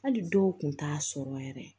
Hali dɔw kun t'a sɔrɔ yɛrɛ